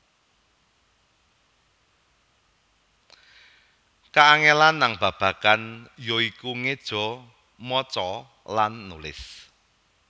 Kaangelan nang babagan ya iku ngeja maca lan nulis